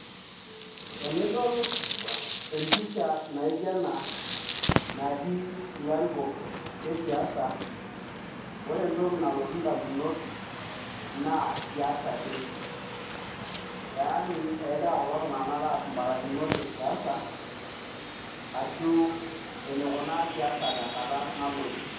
Tenidol empisha naijo ena natii larikok lesiasa ore entoki nalotu ndamunot na siasa ake yanu kegira kulo tunganak aas mbarikinot esiasa ashu enikuna siasa tenkata nalotu.